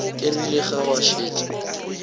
e rile ge ba šetše